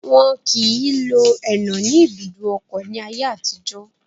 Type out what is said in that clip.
Wọn kìí lo ẹnà ní ibùdó ọkọ̀ ní ayé àtijọ́